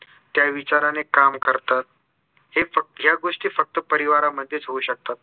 त्या विचाराने काम करतात हे फक्त ह्या गोष्टी फक्त परिवारामध्येच होऊ शकतात